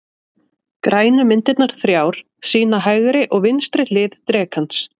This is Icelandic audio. Grænu myndirnar þrjár sýna hægri og vinstri hlið drekans.